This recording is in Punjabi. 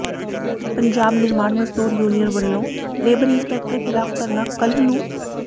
ਪੰਜਾਬ ਨਿਰਮਾਣ ਮਜ਼ਦੂਰ ਯੂਨੀਅਨ ਵੱਲੋਂ ਲੇਬਰ ਇੰਸਪੈਕਟਰ ਿਖ਼ਲਾਫ਼ ਧਰਨਾ ਕੱਲ੍ਹ ਨੰੂ